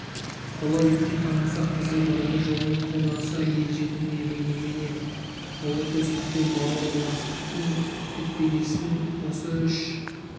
ұлы итке таланса қызы бұрымы жұлынып қорланса ел жетім емей немене ұлы достық пен бауырластықтың бет-бейнесін осы үш